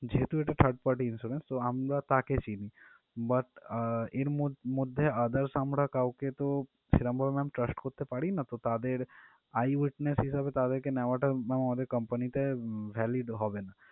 যেহেতু এটা third party insurance তো আমরা তাকে চিনি but আহ এর মধ্যে others আমরা কাউকে তো আমরা সেভাবে ma'am trust করতে পারি না তো তাদের eye witness হিসেবে তেদেরকে নেওয়াটা আমাদের company তে উম valid হবে না।